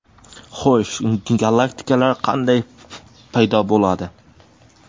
Xo‘sh, galaktikalar qanday paydo bo‘ladi?